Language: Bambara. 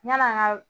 Yann'an ka